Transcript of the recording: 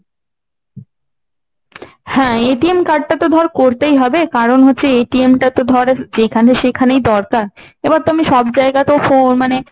হ্যাঁ, card টা তো ধর করতেই হবে কারণ হচ্ছে টা তো ধর যেখানে সেখানেই দরকার। এবার তবে সব জায়গাতেও phone মানে